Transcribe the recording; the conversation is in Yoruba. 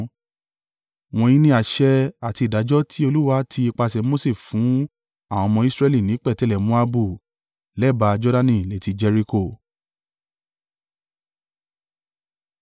Wọ̀nyí ni àṣẹ àti ìdájọ́ tí Olúwa ti ipasẹ̀ Mose fún àwọn ọmọ Israẹli ní pẹ̀tẹ́lẹ̀ Moabu lẹ́bàá Jordani létí Jeriko.